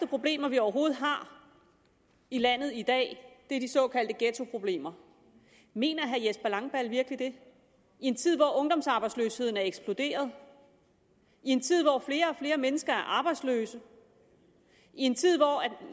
problemer vi overhovedet har i landet i dag er de såkaldte ghettoproblemer mener herre jesper langballe virkelig det i en tid hvor ungdomsarbejdsløsheden er eksploderet i en tid hvor flere og flere mennesker er arbejdsløse i en tid hvor